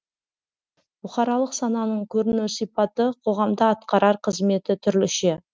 бұқаралық сананың көріну сипаты қоғамда атқарар қызметі түрліше